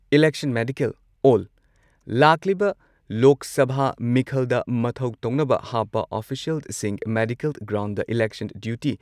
election medical ꯑꯣꯜ ꯂꯥꯛꯂꯤꯕ ꯂꯣꯛ ꯁꯚꯥ ꯃꯤꯈꯜꯗ ꯃꯊꯧ ꯇꯧꯅꯕ ꯍꯥꯞꯄ ꯑꯣꯐꯤꯁꯤꯌꯦꯜꯁꯤꯡ ꯃꯦꯗꯤꯀꯦꯜ ꯒ꯭ꯔꯥꯎꯟꯗ ꯢꯂꯦꯛꯁꯟ ꯗ꯭ꯌꯨꯇꯤ